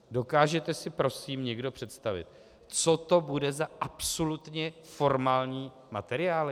Dokážete si prosím někdo představit, co to bude za absolutně formální materiály?